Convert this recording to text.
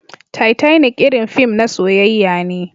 Titanic irin fim na soyyaya ne.